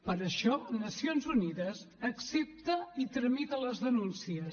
per això nacions unides accepta i tramita les denúncies